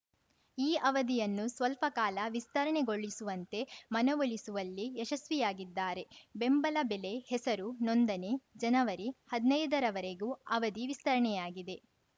ಈ ಅವಧಿಯನ್ನು ಸ್ವಲ್ಪ ಕಾಲ ವಿಸ್ತರಣೆಗೊಳಿಸುವಂತೆ ಮನವೊಲಿಸುವಲ್ಲಿ ಯಶಸ್ವಿಯಾಗಿದ್ದಾರೆ ಬೆಂಬಲ ಬೆಲೆ ಹೆಸರು ನೋಂದಣಿ ಜನವರಿಹದ್ನೈದ ರವರೆಗೂ ಅವಧಿ ವಿಸ್ತರಣೆಯಾಗಿದೆ